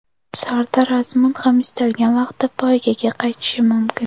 Sardor Azmun ham istalgan vaqtda poygaga qaytishi mumkin.